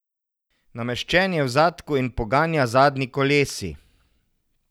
Nameščen je v zadku in poganja zadnji kolesi.